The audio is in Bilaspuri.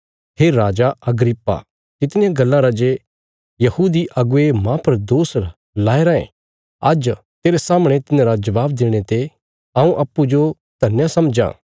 हे राजा अग्रिप्पा तितनियां गल्लां रा जे यहूदी अगुवे माह पर दोष लाया रायें आज्ज तेरे सामणे तिन्हांरा जवाब देणे ते हऊँ अप्पूँजो धन्या समझां